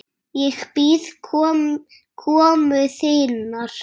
Ég bíð komu þinnar.